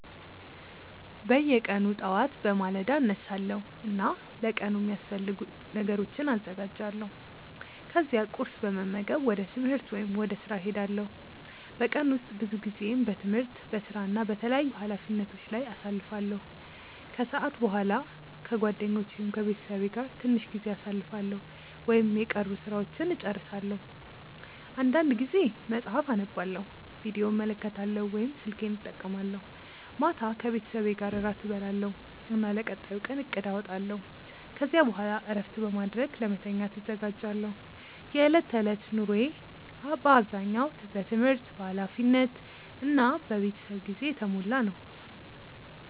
በየቀኑ ጠዋት በማለዳ እነሳለሁ እና ለቀኑ የሚያስፈልጉ ነገሮችን አዘጋጃለሁ። ከዚያ ቁርስ በመመገብ ወደ ትምህርት ወይም ወደ ሥራ እሄዳለሁ። በቀን ውስጥ ብዙ ጊዜዬን በትምህርት፣ በሥራ እና በተለያዩ ኃላፊነቶች ላይ አሳልፋለሁ። ከሰዓት በኋላ ከጓደኞቼ ወይም ከቤተሰቤ ጋር ትንሽ ጊዜ አሳልፋለሁ ወይም የቀሩ ሥራዎችን እጨርሳለሁ። አንዳንድ ጊዜ መጽሐፍ አነባለሁ፣ ቪዲዮ እመለከታለሁ ወይም ስልኬን እጠቀማለሁ። ማታ ከቤተሰቤ ጋር እራት እበላለሁ እና ለቀጣዩ ቀን እቅድ አወጣለሁ። ከዚያ በኋላ እረፍት በማድረግ ለመተኛት እዘጋጃለሁ። የዕለት ተዕለት ኑሮዬ በአብዛኛው በትምህርት፣ በኃላፊነት እና በቤተሰብ ጊዜ የተሞላ ነው።